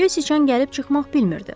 Göy siçan gəlib çıxmaq bilmirdi.